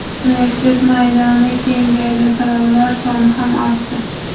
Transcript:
Universitet maydoni kengaydi, talabalar soni ham ortdi.